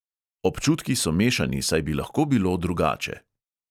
Občutki so mešani, saj bi lahko bilo drugače.